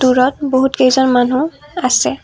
দূৰত বহুত কেইজন মানুহ আছে।